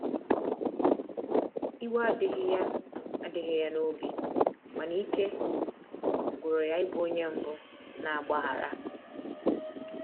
iwe adighi ya adighi ya n'obi, mana ike gwụrụ ya ị bụ onye mbu na agbaghara